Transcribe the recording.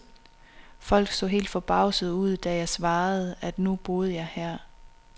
Folk så helt forbavsede ud, når jeg svarede, at nu boede jeg jo her.